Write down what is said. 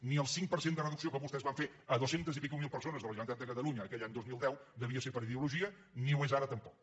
ni el cinc per cent de reducció que vostès van fer a més de dues cents mil persones de la generalitat de catalunya aquell any dos mil deu devia ser per ideologia ni ho és ara tampoc